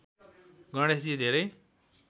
गणेशजी धेरै